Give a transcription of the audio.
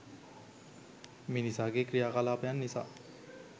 මිනිසාගේ ක්‍රියාකලාපයන් නිසා